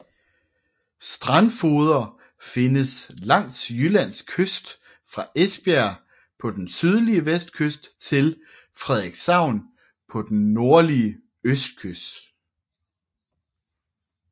Strandfogeder findes langs Jyllands kyst fra Esbjerg på den sydlige vestkyst til Frederikshavn på den nordlige østkyst